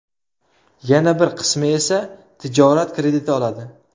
Yana bir qismi esa tijorat krediti oladi.